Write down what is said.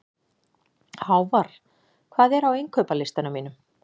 Hávarr, hvað er á innkaupalistanum mínum?